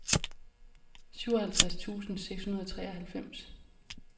syvoghalvtreds tusind seks hundrede og treoghalvfems